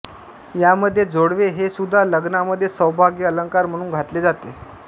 यामध्ये जोडवे हे सुद्धा लग्नामध्ये सौभाग्यअंलकार म्हणून घातले जाते